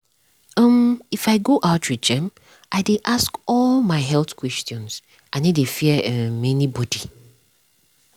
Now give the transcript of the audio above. um if i go outreach um i dey ask all my health questions i no dey fear um anybody.